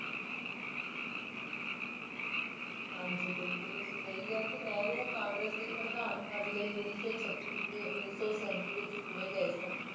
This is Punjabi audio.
ਹਾਂਜੀ ਬਿਲਕੁਲ ਤੁਸੀਂ ਸਹੀ ਕਿਹਾ ਤੇ ਨਹਿਰੂ ਕਾਂਗਰਸ ਦੇ ਪ੍ਰਧਾਨ ਪਦ ਲਈ ਉੱਨੀ ਸੌ ਛੱਤੀ ਤੇ ਉੱਨੀ ਸੌ ਸੈਂਤੀ ਵਿੱਚ ਚੁਣੇ ਗਏ ਸਨ